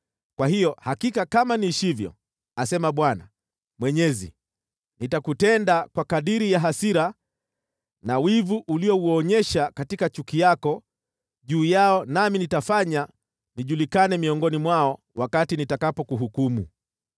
kwa hiyo hakika kama niishivyo, asema Bwana Mwenyezi, nitakutenda kwa kadiri ya hasira na wivu uliouonyesha katika chuki yako juu yao nami nitafanya nijulikane miongoni mwao wakati nitakapokuhukumu.